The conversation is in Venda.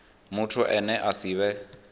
muthu ane a si vhe